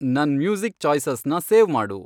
ನನ್ ಮ್ಯೂಸಿಕ್ ಚಾಯ್ಸಸ್ನ ಸೇವ್ ಮಾಡು